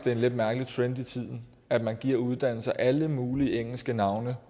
en lidt mærkelig trend i tiden at man giver uddannelser alle mulige engelske navne